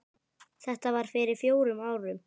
Þetta var fyrir fjórum árum.